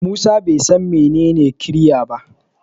Musa ban san menene ƙirya ba.